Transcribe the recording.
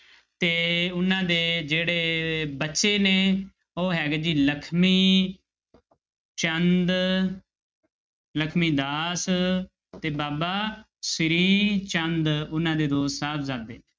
ਤੇ ਉਹਨਾਂ ਦੇ ਜਿਹੜੇ ਬੱਚੇ ਨੇ ਉਹ ਹੈਗੇ ਜੀ ਲਖਮੀ ਚੰਦ ਲਖਮੀ ਦਾਸ ਤੇ ਬਾਬਾ ਸ੍ਰੀ ਚੰਦ ਉਹਨਾਂ ਦੇ ਦੋ ਸਾਹਿਬਜਾਦੇ।